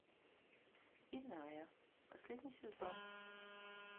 иная последний сезон